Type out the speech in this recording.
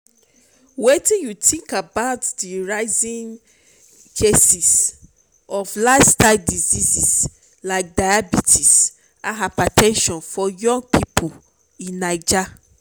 wetin you think about di rising cases of lifestyle diseases like diabetes and hyper ten sion for young people in naija?